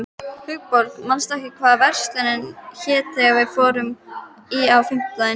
Hugbjörg, manstu hvað verslunin hét sem við fórum í á fimmtudaginn?